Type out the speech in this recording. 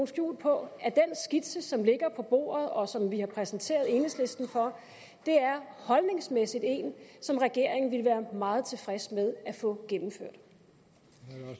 skjul på at den skitse som ligger på bordet og som vi har præsenteret enhedslisten for holdningsmæssigt er en regeringen ville være meget tilfreds med at få gennemført